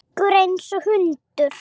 Tryggur einsog hundur.